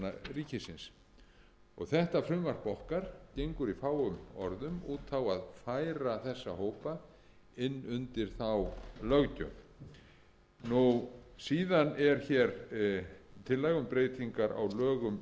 starfsmanna ríkisins þetta frumvarp okkar gengur í fáum orðum út á að færa þessa hópa inn undir þá löggjöf síðan er hér tillaga um breytingar á lögum